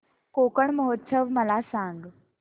कोकण महोत्सव मला सांग